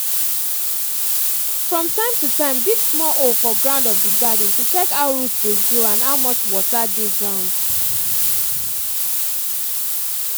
from time to time dig small hole for ground of di garden to check how roots dey grow and how much water dey ground